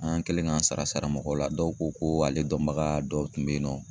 An kɛlen k'an sara sara mɔgɔw la , dɔw ko ko ale dɔnbaga dɔw tun bɛ yen nɔ